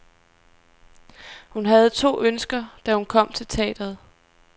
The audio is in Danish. Hun havde to ønsker, da hun kom til teatret.